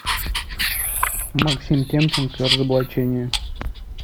максим темченко разоблачение